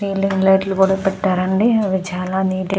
Fielding light లు కూడా పెతాడు. అండి ఇవి చాల నీట్ గ వున్నాయ్.